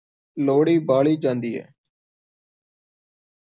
ਲੋਹੜੀ ਬਾਲੀ ਜਾਂਦੀ ਹੈ।